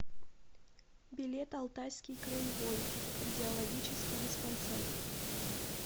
билет алтайский краевой кардиологический диспансер